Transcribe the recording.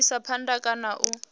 u isa phanda kana u